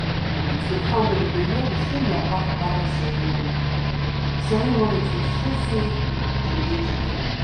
plenty family dey wear the same wrapper for harvest ceremony ceremony to show sey them dey together.